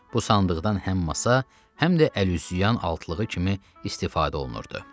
Bu sandıqdan həm masa, həm də əl-üz yuyan altlığı kimi istifadə olunurdu.